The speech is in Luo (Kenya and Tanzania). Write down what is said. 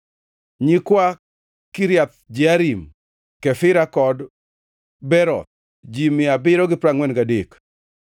nyikwa Kiriath Jearim, Kefira kod Beeroth, ji mia abiriyo gi piero angʼwen gadek (743),